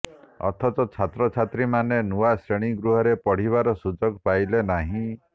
ଅଥଚ ଛାତ୍ରଛାତ୍ରୀମାନେ ନୂଆ ଶ୍ରେଣୀ ଗୃହରେ ପଢ଼ିବାର ସୁଯୋଗ ପାଇଲେ ନାହିଁ